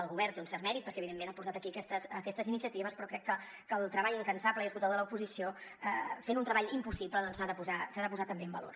el govern té un cert mèrit perquè evidentment ha portat aquí aquestes iniciatives però crec que el treball incansable i esgotador de l’oposició fent un treball impossible s’ha de posar també en valor